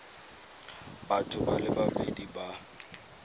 batho ba le babedi ba